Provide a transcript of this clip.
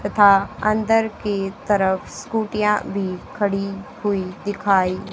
तथा अंदर की तरफ स्कूटियां भी खड़ी हुई दिखाई--